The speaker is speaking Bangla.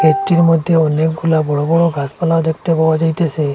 গেট -টির মধ্যে অনেকগুলা বড়ো বড়ো গাছপালা দেখতে পাওয়া যাইতেছে।